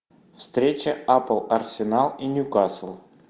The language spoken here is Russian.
встреча апл арсенал и ньюкасл